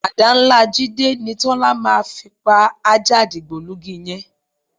Àdá ńlá Jídé ni Tọ́lá máa fi pa ajá dìgbòlugi yẹn